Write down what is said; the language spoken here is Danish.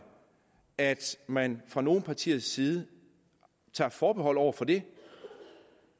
at man fra nogle partiers side tager forbehold over for det